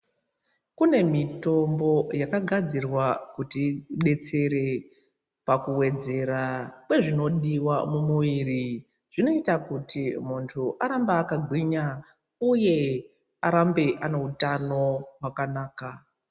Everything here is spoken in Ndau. Kune mitombo yakagadzirwa kuti idetsere pakuwedzera kwezvinodiwa mumwiri zvinoita kuti muntu arambe akagwinya uye arambe ane utano wakanaka